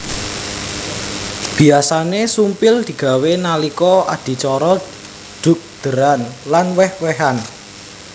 Biyasané sumpil digawé nalika adicara dhugdéran lan wéh wéhan